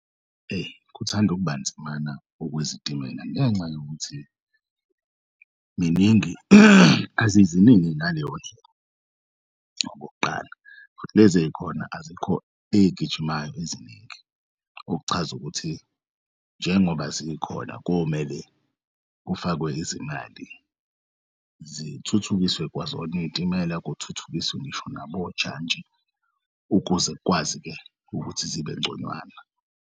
Eyi, kuthand'ukuba nzimana okwezitimela ngenxa yokuthi ziningi, aziziningi ngaleyo ndlela. Okokuqala lez'ey'khona azikho ezigijimayo eziningi okuchaza ukuthi njengoba zikhona komele kufakwe izimali zithuthukiswe kwazona iy'timela kuthuthukiswe ngisho nabojantshi ukuze kwazi-ke ukuthi zibe ngconywana.